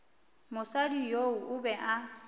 mosadi yoo o be a